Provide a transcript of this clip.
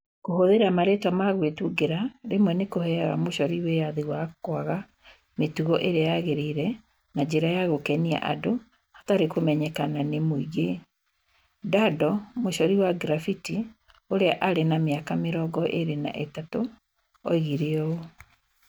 Kũhũthĩra marĩĩtwa ma gwĩtungĩra rĩmwe nĩ kũheaga mucori wĩyathi wa kũaga mĩtugo ĩrĩa yagĩrĩire na njĩra ya gũkenia andũ hatarĩ kũmenyekana nĩ mũingĩ, Daddo, mucori wa graffiti ũrĩa arĩ ma mĩaka mĩrongo ĩrĩ na ithatũ oigire ũũ.